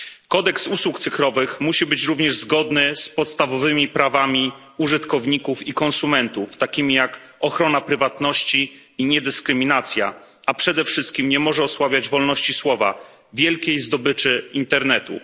Kodeks usług cyfrowych musi być również zgodny z podstawowymi prawami użytkowników i konsumentów, takimi jak ochrona prywatności i niedyskryminacja, a przede wszystkim nie może osłabiać wolności słowa wielkiej zdobyczy internetu.